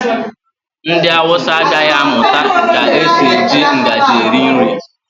Ndị Hausa agaghị amụta ka esi eji ngaji eri nri.